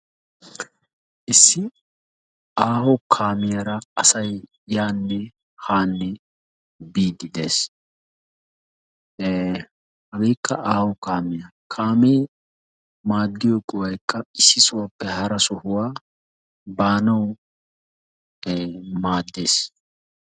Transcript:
Issi aaho kaamiyaara asay yanne haanne biididees. Hagekka aaho kaamiyaa. Kame maaddiyo go''aykka issi sohuwappe hara sohuwaa baanaw maaddees.